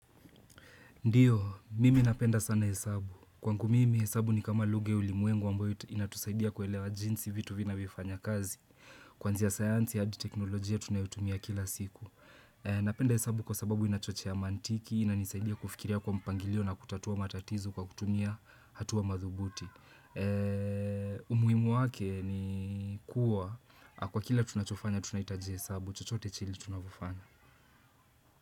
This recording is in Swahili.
Ndiyo, mimi napenda sana hesabu. Kwangu mimi, hesabu ni kama lugha ulimwengu ambayo inatusaidia kuelewa jinsi vitu vinavyo fanya kazi. Kwanzia sayansi, hadi teknolojia tunayotumia kila siku. Napenda hesabu kwa sababu inachochea maantiki, inanisaidia kufikiria kwa mpangilio na kutatua matatizo kwa kutumia hatua madhubuti. Umuhimu wake ni kuwa, kwa kila tunachofanya, tunaitaja hesabu. Chochote chile tunavyo fanya.